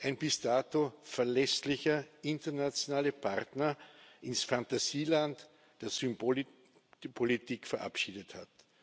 ein bis dato verlässlicher internationaler Partner, ins Fantasieland der Symbolik die Politik verabschiedet